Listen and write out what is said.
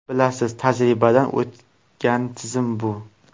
Bilasiz, tajribadan o‘tgan tizim bu.